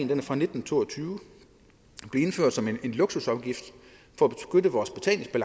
den er fra nitten to og tyve og som en luksusafgift for